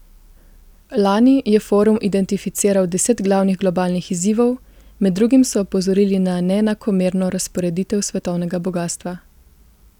Lani je forum identificiral deset glavnih globalnih izzivov, med drugim so opozorili na neenakomerno razporeditev svetovnega bogastva.